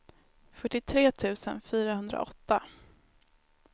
fyrtiotre tusen fyrahundraåtta